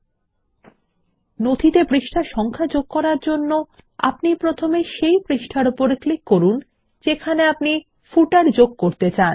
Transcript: শিরলেখতে পৃষ্ঠা সংখ্যা যোগ করার জন্য আমরা প্রথমে সেই পৃষ্ঠার ওপর ক্লিক করব যেখানে আমরা পাদলেখ যোগ করতে চাই